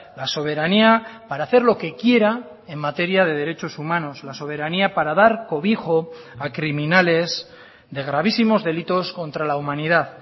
la soberanía para hacer lo que quiera en materia de derechos humanos la soberanía para dar cobijo a criminales de gravísimos delitos contra la humanidad